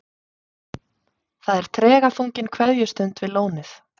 Það er tregaþrungin kveðjustund við lónið.